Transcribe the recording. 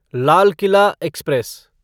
Lal Qila express